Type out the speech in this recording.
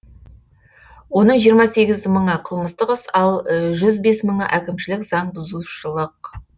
оның жиырма сегіз мыңы қылмыстық іс ал жүз бес мыңы әкімшілік заң бұзушылық